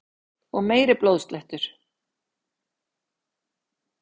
Og meiri blóðslettur!